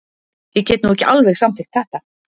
Ég get nú ekki alveg samþykkt þetta.